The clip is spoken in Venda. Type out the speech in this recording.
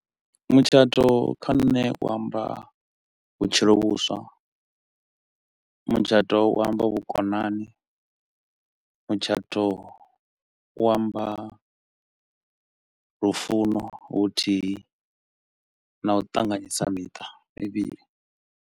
Mutshato kha nṋe u amba vhutshilo vhuswa, mutshato u amba vhukonani, mutshato u amba lufuno, vhuthihi na u ṱanganyisa miṱa mivhili.